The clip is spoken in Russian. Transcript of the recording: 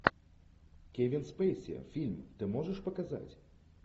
кевин спейси фильм ты можешь показать